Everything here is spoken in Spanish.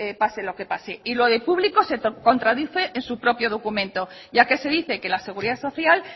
pase lo que pase y lo de público se contradice en su propio documento ya que se dice que la seguridad social